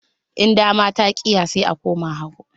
In dama ta ƙiya, sai a koma hagu